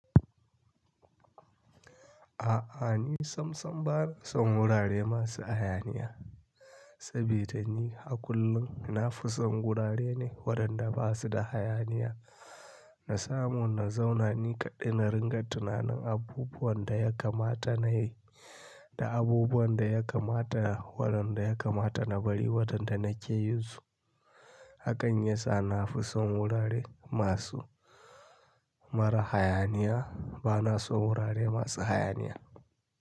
A'a ni sam sam bana son wurare masu hayaniya sabida ni a kullum na fi son wurare ne waɗanda ba su da hayaniya. Na samu na zauna ni kaɗai na ringa tunanin abubuwan da ya kamata na yi da abubuwan da ya kamata waɗanda ya kamata na bari waɗanda nake yinsu. Hakan ya sa na fi son wurare masu mara hayaniya. Bana son wurare masu hayaniya.